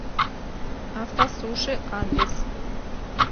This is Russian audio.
автосуши адрес